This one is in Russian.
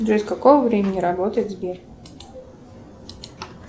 джой с какого времени работает сбер